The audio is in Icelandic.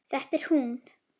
Það er hún.